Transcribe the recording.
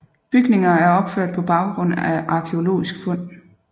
Bygninger er opført på baggrund af arkæologisk fund